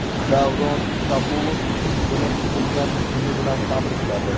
Davron Kabulov qizini tug‘ilgan kuni bilan tabrikladi.